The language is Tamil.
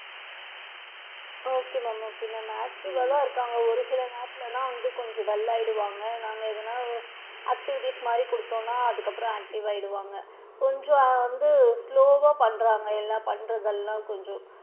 Okay ma'am okay ma'am active வா தான் இருக்காங்க ஒரு சில நேரத்துல தான் அவுங்க கொஞ்சம் dull ஆயிடுவாங்க நாங்க எதுனா activities மாதிரி குடுத்தோம்னா அதுக்கு அப்பறம் active வா ஆயிடுவாங்க, கொஞ்சம் வந்து slow வா பண்றாங்க எல்லா பண்றது எல்லா கொஞ்சம்,